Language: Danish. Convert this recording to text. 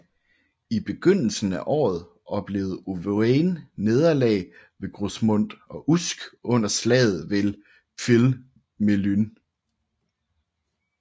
I begyndelsen af året oplevede Owain nederlag ved Grosmont og Usk under slaget ved Pwll Melyn